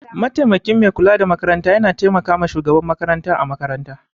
Mataimakin Mai kula da makaranta yana taimakawa Shugaban makaranta a makaranta.